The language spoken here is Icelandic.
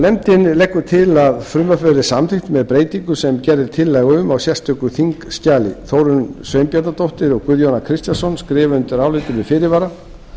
nefndin leggur til að frumvarpið verði samþykkt með breytingu sem gerð er tillaga um í sérstöku þingskjali þórunn sveinbjarnardóttir og guðjón a kristjánsson skrifa undir álitið með fyrirvara